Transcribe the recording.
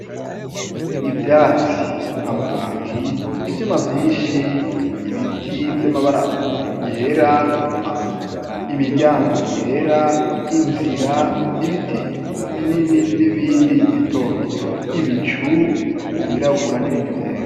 Ivyatsi amabati ivyomavyishi ibiti vy'amabara yera imiryango yera inzira ibiti binini n'ibindi bitobito ibicu vyirabura n'ibindi vyera.